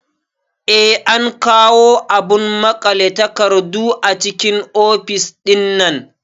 Eh an kawo abun maƙale takardu a cikin ofis ɗinnan